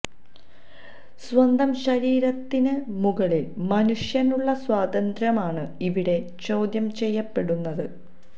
സ്വന്തം ശരീരത്തിന് മുകളില് മനുഷ്യനുള്ള സ്വാതന്ത്ര്യമാണ് ഇവിടെ ചോദ്യം ചെയ്യപ്പെടുന്നുത്